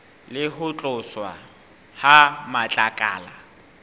le ho tloswa ha matlakala